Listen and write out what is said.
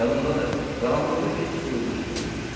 Yadımdadır, qaranlıqda bir kiçik ulduz gördüm.